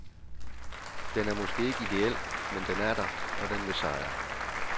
Den er måske ikke idéel, men den er der, og den vil sejre.